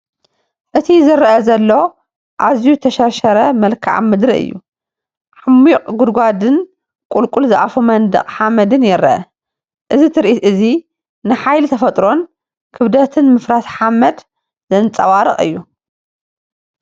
እቲ ዝረአ ዘሎ ኣዝዩ ዝተሸርሸረ መልክዓ ምድሪ እዩ። ዓሚቝ ጉድጓድን ቁልቁል ዝኣፉ መንደቕ ሓመድን ይርአ። እዚ ትርኢት እዚ ንሓይሊ ተፈጥሮን ክብደት ምፍራስ ሓመድን ዘንጸባርቕ እዩ።